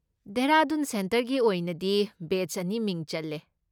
ꯗꯦꯍꯔꯥꯗꯨꯟ ꯁꯦꯟꯇꯔꯒꯤ ꯑꯣꯏꯅꯗꯤ ꯕꯦꯆ ꯑꯅꯤ ꯃꯤꯡ ꯆꯜꯂꯦ꯫